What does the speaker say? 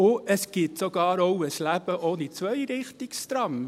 Es gibt auch ein Leben ohne Zweirichtungstram!